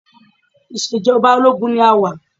Ìṣejọba ológun ni a wà.